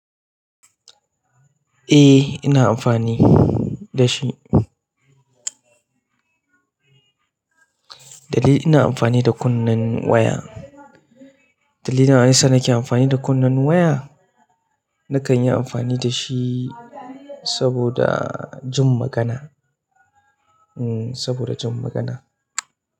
Eh ina amfani da shi. Dalili ina amfani da kunnen waya, dalilin da yasa nake amfani da kunnen waya nakan yi amfani da shi saboda jin magana, hmm saboda jin magana.